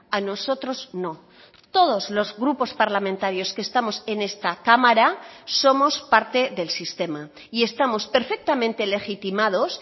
a nosotros no todos los grupos parlamentarios que estamos en esta cámara somos parte del sistema y estamos perfectamente legitimados